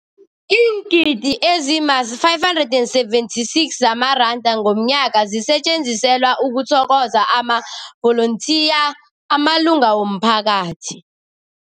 Iingidi ezima-576 zamaranda ngomnyaka zisetjenziselwa ukuthokoza amavolontiya amalunga womphakathi.